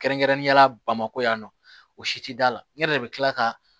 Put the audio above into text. Kɛrɛnkɛrɛnnenya la bamakɔ yan nɔ o si tɛ da la ne yɛrɛ de bɛ kila ka